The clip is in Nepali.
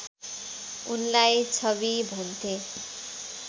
उनलाई छवि भन्थे